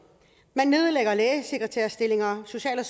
man nedlægger lægesekretærstillinger og social